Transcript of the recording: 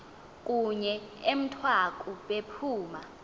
kunye emthwaku bephuma